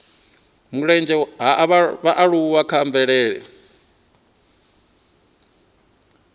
mulenzhe ha vhaaluwa kha mvelele